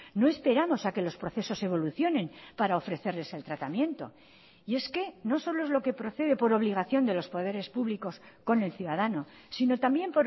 no esperamos a que los procesos evolucionen para ofrecerles el tratamiento y es que no solo es lo que procede por obligación de los poderes públicos con el ciudadano sino también